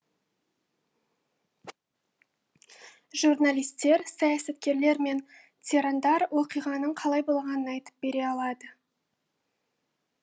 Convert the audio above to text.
журналистер саясаткерлер мен тирандар оқиғаның қалай болғанын айтып бере алады